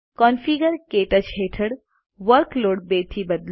configure ક્ટચ હેઠળ workload 2 થી બદલો